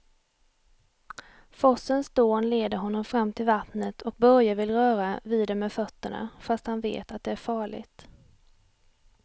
Forsens dån leder honom fram till vattnet och Börje vill röra vid det med fötterna, fast han vet att det är farligt.